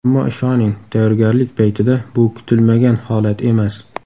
Ammo ishoning, tayyorgarlik paytida bu kutilmagan holat emas.